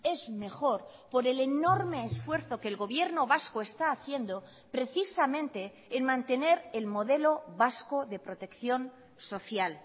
es mejor por el enorme esfuerzo que el gobierno vasco está haciendo precisamente en mantener el modelo vasco de protección social